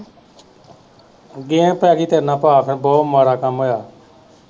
game ਪੈ ਗਈ ਤੇਰੇ ਨਾਲ ਭਾ ਬਹੁਤ ਮਾੜਾ ਕੰਮ ਹੋਇਆ